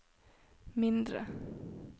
mindre